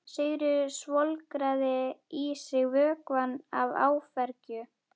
Sigríður svolgraði í sig vökvann af áfergju.